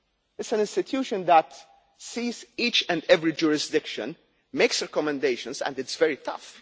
It is an institution that sees each and every jurisdiction, makes recommendations and is very tough.